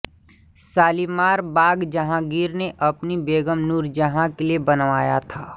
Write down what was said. शालीमार बाग जहांगीर ने अपनी बेगम नूरजहां के लिए बनवाया था